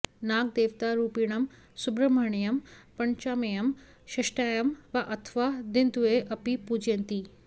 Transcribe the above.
नागदेवतारूपिणं सुब्रह्मण्यं पञ्चम्यां षष्ठ्यां वा अथवा दिनद्वये अपि पूजयन्ति